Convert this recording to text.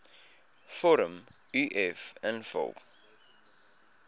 vorm uf invul